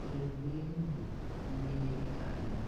ɔluedigbo ya n'udu k'uwuɩ n'ɩelikalidʊ